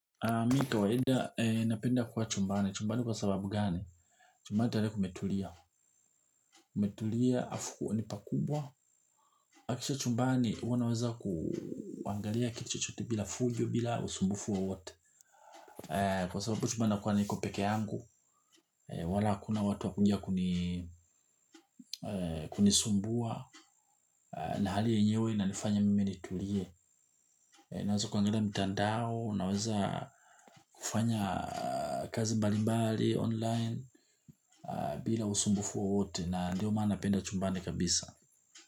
Mi kawaeda, napenda kuwa chumbani. Chumbani kwa sababu gani? Chumbani tale kumetulia. Kumetulia afu unipakubwa. Kisha chumbani, wanaweza kuangalia kiti chote bila fujo bila usumbufu wo wote. Kwa sababu chumbani nakuwa niko peke yangu, wala akuna watu wakuja kunisumbua, nahali enyewe inanifanya mimi nitulie. Naweza kuangalia mtandao naweza kufanya kazi mbalibali online bila usumbufu wowote na ndio mana napenda chumbani kabisa.